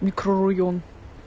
микрорайон